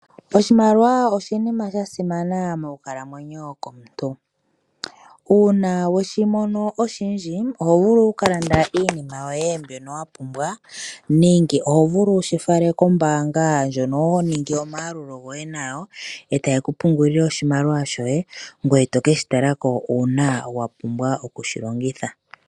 Oshimaliwa oshinima sha simana monkalamwenyo yomuntu. Uuna we shi mono oshindji oho vulu oku ka landa iinima yoye mbyono wa pumbwa nenge oho vulu oku shi fala kombaanga ndjono ho ningi omayalulo nayo e taye ku pungulile oshimaliwa shoye ngoye to ke shi tala ko uuna wa pumbwa oku shi longitha.